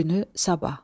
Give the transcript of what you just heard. Günü sabah.